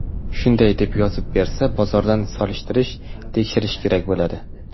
Shunday deb yozib bersa, bozordan solishtirish, tekshirish kerak bo‘ladi.